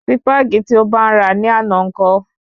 Sípàgì tí o bá n ra ní àná ńkọ́?